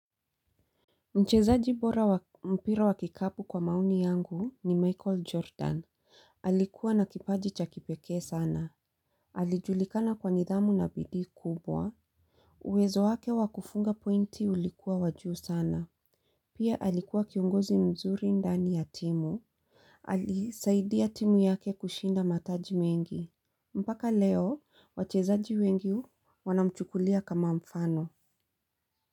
Mchezaji bora wa mpira wa kikapu kwa maoni yangu ni Michael Jordan. Alikuwa na kipaji cha kipekee sana. Alijulikana kwa nidhamu na bidii kubwa. Uwezo wake wakufunga pointi ulikuwa wa juu sana. Pia alikuwa kiongozi mzuri ndani ya timu. Aliisaidia timu yake kushinda mataji mengi. Mpaka leo wachezaji wengi wanamchukulia kama mfano.